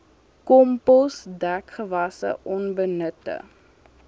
kompos dekgewasse onbenutte